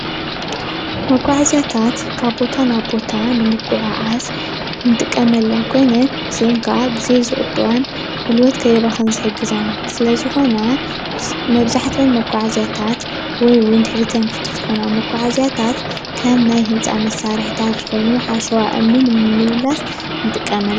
መጓዕዝያታት ካብ ቦታ ናብ ቦታ ንሙጉዕዓዝ ንጥቀመለን ኮይነን እዚን ክዓ ግዜ ዝቁጥባ ጉልበት ከይባክን ዝሕግዛና ስለ ዝኮና መብዛሕትአን መጓዕዝያታት አይ እውን ድሕሪትን ክፍቲ ዝኮና መጓዕዝያታት ከም ናይ ህንፃ መሳርሕታት ዝበሉ ሓሸዋ እምኒ ንምምልላስ ንጥቀመለን፡፡